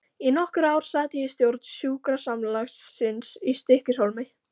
Í nokkur ár sat ég í stjórn sjúkrasamlagsins í Stykkishólmi.